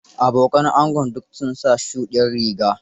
Abokan angon duk sun sa shuɗiyar riga.